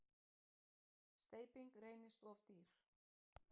Steyping reynist of dýr.